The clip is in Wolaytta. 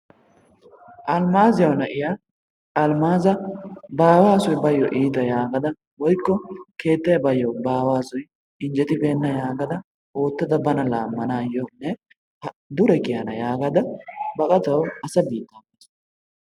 Alimaaziyawu na'iya Almaaza ba aawaasoy baayyo iita yaagada woykko keettay baayyo ba aawaasoy injjetibeenna yaagada oottada bana laammanaayyonne dure kiyana yaagada baqatawu asa biitta baasu.